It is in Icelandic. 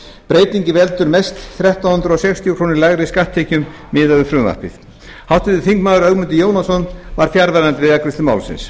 breytingin veldur mest þrettán hundruð sextíu krónum lægri skatttekjum miðað við frumvarpið háttvirtur þingmaður ögmundur jónasson var fjarverandi við afgreiðslu málsins